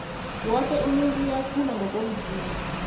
woke umuntu uyakhula ngokomzimba